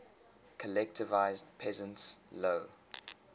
collectivized peasants low